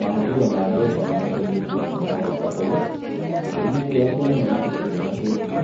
Mahũthĩro ma mbeca nĩ macenjetie kuma o hau kabere. Gĩtũmi kĩrĩa kĩnene gĩtũmĩte macenjie,